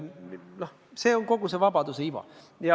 Selles ongi kogu see vabaduse iva.